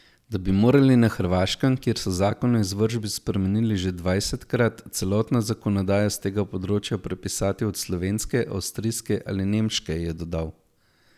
Da bi morali na Hrvaškem, kjer so zakon o izvršbi spremenili že dvajsetkrat, celotno zakonodajo s tega področja prepisati od slovenske, avstrijske ali nemške, je dodal.